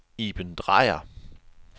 Iben Drejer